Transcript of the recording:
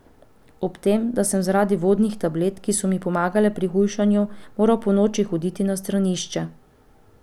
Ob tem, da sem zaradi vodnih tablet, ki so mi pomagale pri hujšanju, moral ponoči hoditi na stranišče.